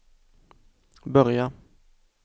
börja